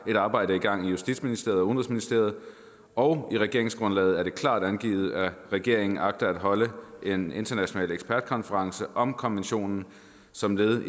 et arbejde i gang i justitsministeriet og udenrigsministeriet og i regeringsgrundlaget er det klart angivet at regeringen agter at holde en international ekspertkonference om konventionen som led